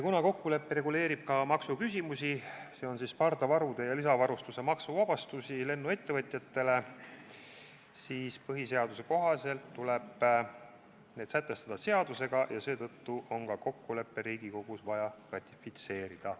Kuna kokkulepe reguleerib ka maksuküsimusi – konkreetsemalt pardavarusid ja lisavarustust puudutavaid maksuvabastusi lennuettevõtjatele, siis põhiseaduse kohaselt tuleb need sätestada seadusega ja seetõttu on kokkulepe Riigikogus vaja ratifitseerida.